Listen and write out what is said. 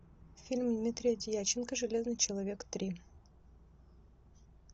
фильм дмитрия дьяченко железный человек три